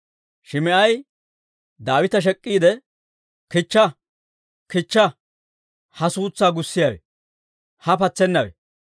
Shim"i Daawita shek'iidde, «Kichcha; kichcha! Ha suutsaa gussiyaawe! Ha patsennawe!